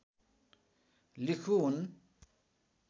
लिखु हुन्